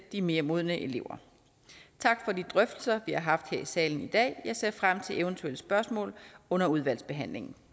de mere modne elever tak for de drøftelser vi har haft her i salen i dag jeg ser frem til eventuelle spørgsmål under udvalgsbehandlingen